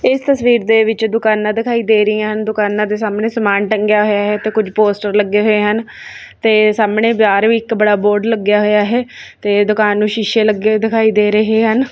ਇਸ ਤਸਵੀਰ ਦੇ ਵਿੱਚ ਦੁਕਾਨਾਂ ਦਿਖਾਈ ਦੇ ਰਹੀਆਂ ਹਨ ਦੁਕਾਨਾਂ ਦੇ ਸਾਹਮਣੇ ਸਮਾਨ ਟੰਗਿਆ ਹੋਇਆ ਹੈ ਤੇ ਕੁਝ ਪੋਸਟਰ ਲੱਗੇ ਹੋਏ ਹਨ ਤੇ ਸਾਹਮਣੇ ਬਾਰ ਵੀ ਇੱਕ ਬੜਾ ਬੋਰਡ ਲੱਗਿਆ ਹੋਇਆ ਹੈ ਤੇ ਦੁਕਾਨ ਨੂੰ ਸ਼ੀਸ਼ੇ ਲੱਗੇ ਹੋਏ ਦਿਖਾਈ ਦੇ ਰਹੇ ਹਨ।